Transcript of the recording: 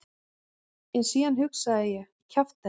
En síðan hugsaði ég: kjaftæði.